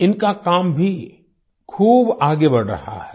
इनका काम भी खूब आगे बढ़ रहा है